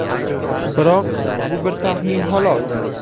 Biroq, bu bir taxmin, xolos.